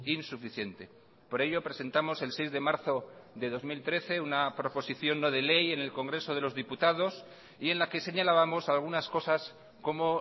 insuficiente por ello presentamos el seis de marzo de dos mil trece una proposición no de ley en el congreso de los diputados y en la que señalábamos algunas cosas como